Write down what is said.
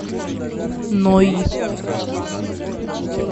ной